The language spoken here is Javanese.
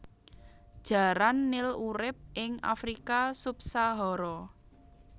Jaran nil urip ing Afrika subsahara